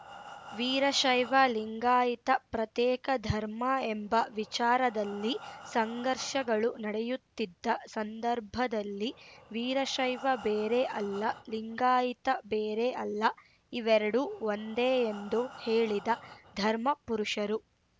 ವೀರಶೈವ ಲಿಂಗಾಯಿತ ಪ್ರತೇಕ ಧರ್ಮ ಎಂಬ ವಿಚಾರದಲ್ಲಿ ಸಂಘರ್ಷಗಳು ನಡೆಯುತ್ತಿದ್ದ ಸಂದರ್ಭದಲ್ಲಿ ವೀರಶೈವ ಬೇರೆ ಅಲ್ಲ ಲಿಂಗಾಯಿತ ಬೇರೆ ಅಲ್ಲ ಇವೆರಡು ಒಂದೆ ಎಂದು ಹೇಳಿದ ಧರ್ಮ ಪುರುಷರು